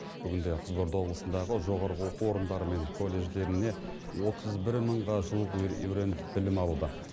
бүгінде қызылорда облысындағы жоғарғы оқу орындары мен колледждеріне отыз бір мыңға жуық өрен білім алуда